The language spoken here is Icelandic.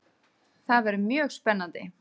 Það verður mjög spennandi.